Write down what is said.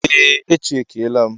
Ee, e chekiela m.